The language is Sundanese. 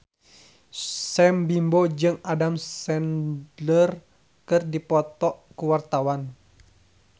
Sam Bimbo jeung Adam Sandler keur dipoto ku wartawan